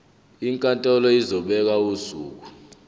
inkantolo izobeka usuku